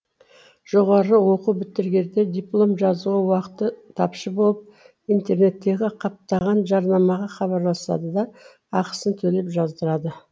жоғары оқу бітірерде диплом жазуға уақыты тапшы болып интернеттегі қаптаған жарнамаға хабарласады да ақысын төлеп жаздырады